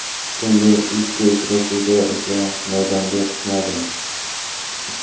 So‘ngi ikki uchrashuvda esa maydonga tushmadim.